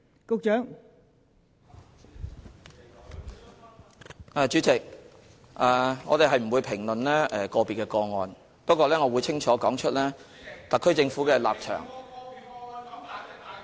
代理主席，我們不會評論個別個案，但我會清楚說出特區政府的立場......